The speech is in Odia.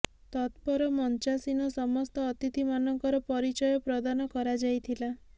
ତତ୍ ପର ମଞ୍ଚାସୀନ ସମସ୍ତ ଅତିଥିମାନଙ୍କର ପରିଚୟ ପ୍ରଦାନ କରାଯାଇଥିଲା